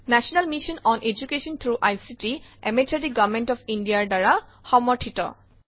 national mission on education through ICT MHRD government of India ৰ দ্বাৰা সমৰ্থিত